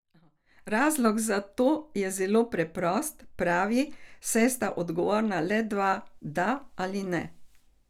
Razlog za to je zelo preprost, pravi, saj sta odgovora le dva, da ali ne.